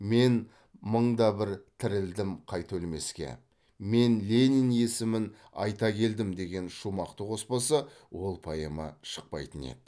мен мың да бір тірілдім қайта өлмеске мен ленин есімін айта келдім деген шумақты қоспаса ол поэма шықпайтын еді